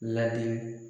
Ladi